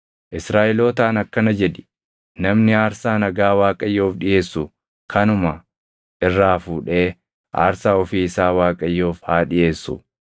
“Israaʼelootaan akkana jedhi; ‘Namni aarsaa nagaa Waaqayyoof dhiʼeessu kanuma irraa fuudhee aarsaa ofii isaa Waaqayyoof haa dhiʼeessu.